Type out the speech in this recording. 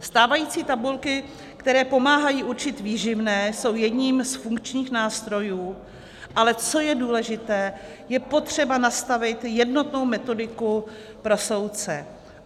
Stávající tabulky, které pomáhají určit výživné, jsou jedním z funkčních nástrojů, ale co je důležité, je potřeba nastavit jednotnou metodiku pro soudce.